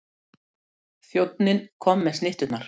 Þjónninn kom með snitturnar.